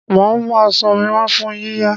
Màá mú aṣọ mi wá fún yíyà